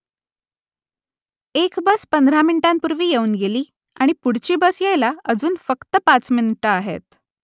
एक बस पंधरा मिनिटांपूर्वी येऊन गेली आणि पुढची बस यायला अजून फक्त पाच मिनिटं आहेत